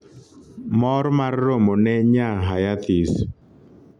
mor mar romone nya hayathis